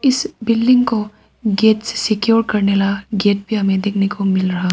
इस बिल्डिंग को गेट से सिक्योर करने वाला गेट भी हमें देखने मिल रहा--